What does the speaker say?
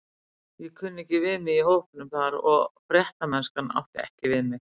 Ég kunni ekki við mig í hópnum þar og fréttamennskan átti ekki við mig.